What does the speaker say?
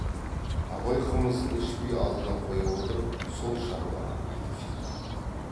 абай қымызын ішпей алдына қоя отырып сол шаруаны айтып шықты